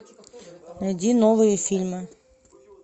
найди новые фильмы